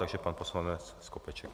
Takže pan poslanec Skopeček.